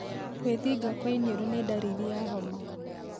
Gwĩthinga kwa iniũrũ nĩ ndariri ya homa